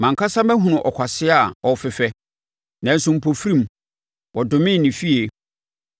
Mʼankasa mahunu ɔkwasea a ɔrefefɛ, nanso, mpofirim, wɔdomee ne fie.